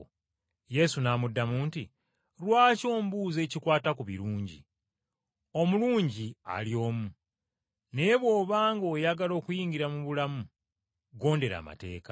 Yesu n’amuddamu nti, “Lwaki ombuuza ebikwata ku birungi? Omulungi ali omu, naye bw’obanga oyagala okuyingira mu bulamu, ggondera amateeka.”